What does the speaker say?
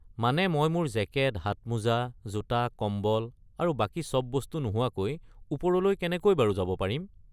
মানে মই মোৰ জেকেট, হাতমোজা, জোতা, কম্বল আৰু বাকী চব বস্তু নোহোৱাকৈ ওপৰলৈ কেনেকৈ বাৰু যাব পাৰিম?